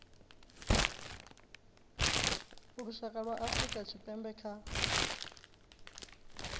lushaka lwa afrika tshipembe kha